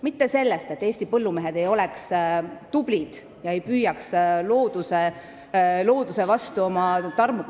Mitte sellest, et Eesti põllumehed ei oleks olnud tublid ega oleks püüdnud oma tarmukuse abil looduse vastu saada.